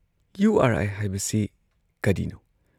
U R I ꯍꯥꯏꯕꯁꯤ ꯀꯔꯤꯅꯣ?